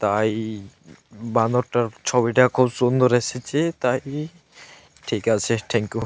তাই বানরটার ছবিটা খুব সুন্দর এসেছে। তাই ঠিক আছে থ্যাংক ইউ ।